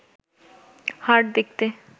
হাড় দেখতে